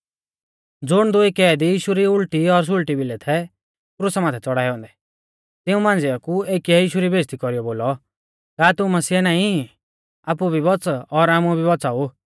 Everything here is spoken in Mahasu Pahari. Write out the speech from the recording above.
ज़ुण दुई कैदी यीशु री उल़टी और सुल़टी भिलै थै क्रुसा माथै च़ौड़ाऐ औन्दै तिऊं मांझ़िऐ कु एकीऐ यीशु री बेइज़्ज़ती कौरीयौ बोलौ का तू मसीह नाईं ई आपु भी बौच़ और आमु भी बौच़ाऊ